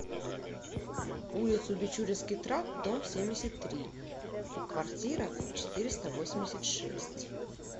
улицу бичуринский тракт дом семьдесят три в квартира четыреста восемьдесят шесть